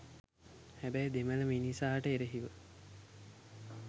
හැබැයි දෙමළ මිනිසාට එරෙහිව